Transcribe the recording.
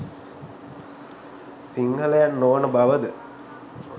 සිංහලයන් නොවන බව ද?